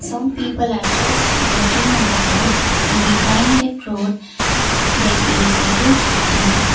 some people are just walking on the road and behind the road there is a huge building.